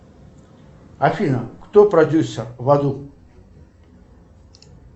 афина кто продюсер в аду